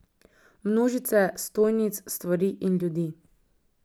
Množice stojnic, stvari in ljudi.